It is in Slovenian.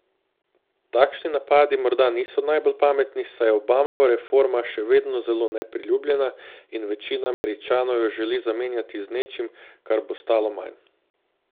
Takšni napadi morda niso najbolj pametni, saj je Obamova reforma še vedno zelo nepriljubljena in večina Američanov jo želi zamenjati z nečim, kar bo stalo manj.